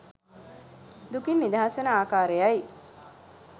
දුකින් නිදහස් වන ආකාරයයි